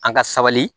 An ka sabali